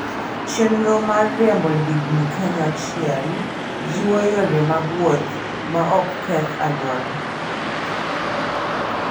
Chenro mar riembo ndigni kanyachiel jiwo yore mag wuoth maok ketho alwora.